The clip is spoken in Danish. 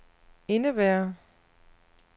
indebærer